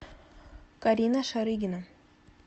карина шарыгина